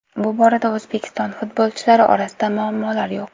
Bu borada O‘zbekiston futbolchilari orasida muammolar yo‘q.